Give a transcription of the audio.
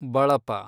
ಬಳಪ